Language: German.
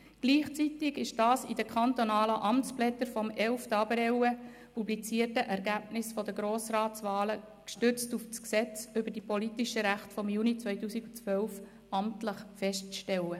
Gleichzeitig ist dies in den kantonalen Amtsblättern vom 11. April publizierten Ergebnissen der Grossratswahlen gestützt auf das Gesetz über die politischen Rechte vom Juni 2012 (PRG) amtlich festzustellen.